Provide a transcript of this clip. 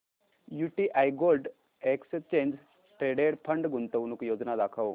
UTI gold exchange traded fund गुंतवणूक योजना दाखव